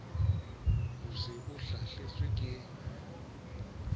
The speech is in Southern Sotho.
o se o hlahetswe ke